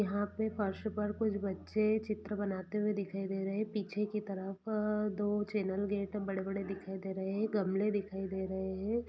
यहां पर फर्स पर कुछ बच्चे चित्र बनाते हुए दिखाई दे रहे हैं पीछे के तरफ दो चैनल गेट बड़े-बड़े दिखाई दे रहे हैं गमले दिखाई दे रहे हैं।